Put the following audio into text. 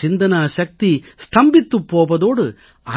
சிந்தனாசக்தி ஸ்தம்பித்துப் போவதோடு